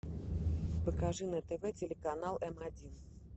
покажи на тв телеканал м один